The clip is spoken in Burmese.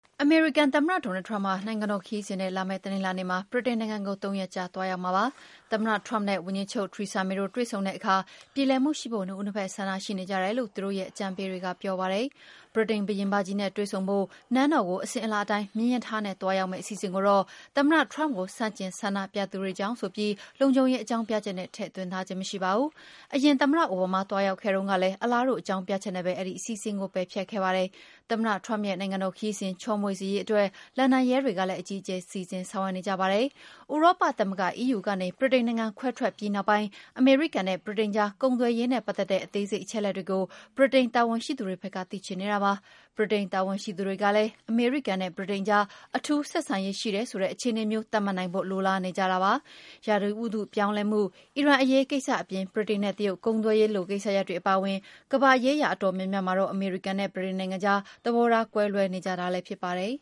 အမေရိကန်သမ္မတ Donald Trump ဟာ နိုင်ငံတော်ခရီးစဉ်နဲ့ လာမယ့် တနင်္လာနေ့မှာ ဗြိတိန်နိုင်ငံကို ၃ ရက်ကြာ သွားရောက်မှာပါ။ သမ္မတ Trump နဲ့ ဝန်ကြီးချုပ် ထရီဆာမေတို့ တွေ့ဆုံတဲ့အခါ ပြေလည်မှုရှိဖို့ ၂ ဦး ၂ ဘက် ဆန္ဒရှိနေကြတယ်လို့ သူတို့ရဲ့ အကြံပေးတွေကပြောပါတယ်။ ဗြိတိန်ဘုရင်မကြီးနဲ့ တွေ့ဆုံဖို့ နန်းတော်ကို အစဉ်အလာအတိုင်း မြင်းရထားနဲ့ သွားရောက်မယ့် အစီအစဉ်ကိုတော့ သမ္မတ Trump ကို ဆန့်ကျင်ဆန္ဒပြသူတွေကြောင့်ဆိုပြီး လုံခြုံရေးအကြောင်းပြချက်နဲ့ ထည့်သွင်းထားခြင်းမရှိပါဘူး။ သမ္မတ အိုဘားမား သွားရောက်ခဲ့တုန်းကလည်း အလားတူ အကြောင်းပြချက်နဲ့ပဲ အဲဒီ အစီအစဉ်ကို ပယ်ဖျက်ခဲ့တာပါ။ သမ္မတ Trump ရဲ့ နိုင်ငံတော် ခရီးစဉ် ချောမွေ့စေရေးအတွက် လန်ဒန်ရဲတွေလည်း အကြီးအကျယ် စီစဉ်ဆောင်ရွက်နေကြပါတယ်။ ဥရောပသမဂ္ဂ EU ကနေ ဗြိတိန်နိုင်ငံ ခွဲထွက်ပြီးနောက်ပိုင်း အမေရိကန်နဲ့ ဗြိတိန်ကြား ကုန်သွယ်ရေးနဲ့ပတ်သက်တဲ့ အသေးစိတ်အချက်အလက်တွေကို ဗြိတိန်တာဝန်ရှိသူတွေက သိချင်နေကြပါတယ်။ ဗြိတိန်တာဝန်ရှိသူတွေကလည်း အမေရိကန်နဲ့ ဗြိတိန်ကြား အထူးဆက်ဆံရေး ရှိတယ်ဆိုတဲ့ အခြေအနေမျိုး သတ်မှတ်နိုင်ဖို့ လိုလားနေကြတာဖြစ်ပါတယ်။ ဥတုရာသီပြောင်းလဲမှု၊ အီရန်အရေးကိစ္စအပြင် ဗြိတိန်နဲ့ တရုတ် ကုန်သွယ်ရေးလို ကိစ္စရပ်တွေအပါအဝင် ကမ္ဘာ့ရေးရာအတော်များများမှာတော့ အမေရိကန်နဲ့ ဗြိတိန်နိုင်ငံကြား သဘေားထား ကွဲလွဲနေကြတာလည်း ဖြစ်ပါတယ်